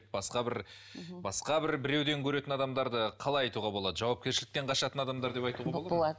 басқа бір басқа бір біреуден көретін адамдарды қалай айтуға болады жауапкершіліктен қашатын адамдар деп айтуға болады